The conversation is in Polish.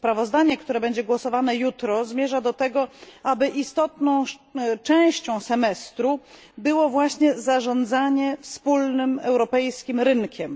Sprawozdanie, które będzie głosowane jutro, zmierza do tego, aby istotną częścią semestru było właśnie zarządzanie wspólnym europejskim rynkiem.